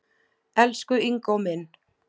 Elsku Ingó minn.